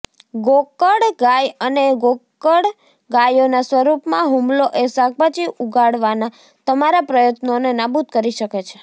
ગોકળગાય અને ગોકળગાયોના સ્વરૂપમાં હુમલો એ શાકભાજી ઉગાડવાના તમારા પ્રયત્નોને નાબૂદ કરી શકે છે